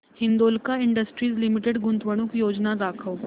Hindalco industries limited गुंतवणूक योजना दाखव